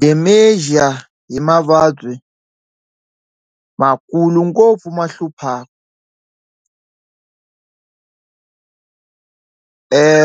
Dementia hi mavabyi ma kulu ngopfu ma hluphaka